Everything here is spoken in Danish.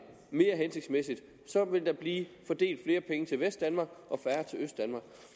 mere hensigtsmæssigt vil der blive fordelt flere penge til vestdanmark